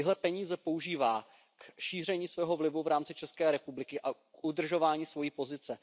Tyhle peníze používá k šíření svého vlivu v rámci České republiky a k udržování své pozice.